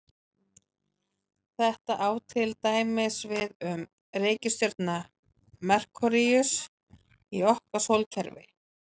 Þetta á til dæmis við um reikistjörnuna Merkúríus í okkar sólkerfi.